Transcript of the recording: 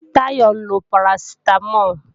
Táyọ ń lo parasitamol